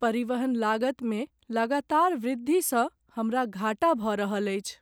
परिवहन लागतमे लगातार वृद्धिसँ हमरा घाटा भऽ रहल अछि।